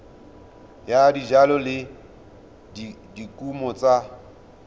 ya dijalo le dikumo tsa